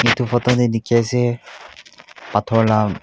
etu photo teh dikhi ase pathor lah--